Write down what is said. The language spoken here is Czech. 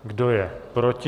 Kdo je proti?